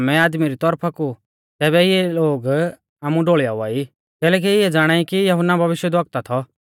अगर बोलु लै आमै आदमी री तौरफा कु तैबै ई लोग आमु डोल़ीयावा कैलैकि इऐ ज़ाणाई कि यहुन्ना भविष्यवक्ता थौ